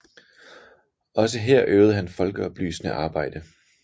Også her øvede han folkeoplysende arbejde